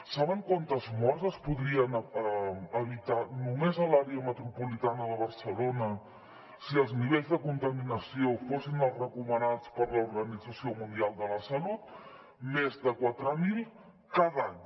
saben quantes morts es podrien evitar només a l’àrea metropolitana de barcelona si els nivells de contaminació fossin els recomanats per l’organització mundial de la salut més de quatre mil cada any